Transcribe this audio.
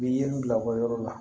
U bɛ yiri bila u ka yɔrɔ la